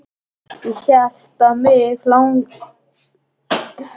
Ég hélt mig hlyti að vera að dreyma.